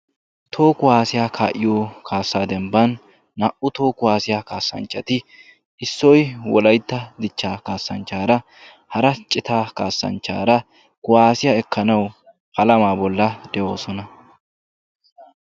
Tooho kuwaasiyaa kaa"iyo kaassaa dembban naa"u tooho kuwaasiyaa kaassanchcati issoy wolaytta dichcha kaassanchchaara hara cita kaassanchchaara guwaasiyaa ekkanawu alamaa bolla de'oosona.